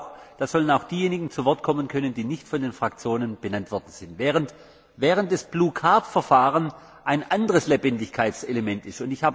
da sollen auch diejenigen zu Wort kommen können, die nicht von den Fraktionen benannt worden sind, während das Verfahren der blauen Karte ein anderes Lebendigkeitselement ist.